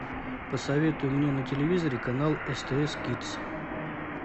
посоветуй мне на телевизоре канал стс кидс